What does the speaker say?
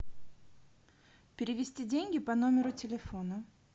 перевести деньги по номеру телефона